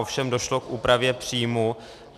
Ovšem došlo k úpravě příjmů.